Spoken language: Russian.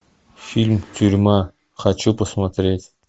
фильм тюрьма хочу посмотреть